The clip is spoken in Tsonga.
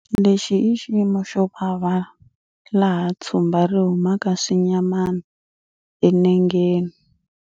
Lexi i xiyimo xo vava laha tshumba ri humaka swinyamana enengeni.